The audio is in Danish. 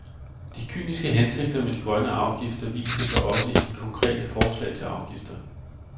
De kyniske hensigter med de grønne afgifter viser sig også i de konkrete forslag til afgifter.